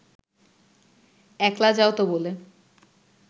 একলা যাওতো বলে